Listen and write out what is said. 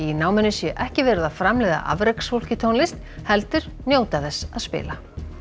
náminu sé ekki verið að framleiða afreksfólk í tónlist heldur njóta þess að spila